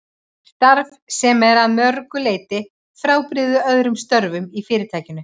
Starf sem er að mörgu leyti frábrugðið öðrum störfum í Fyrirtækinu.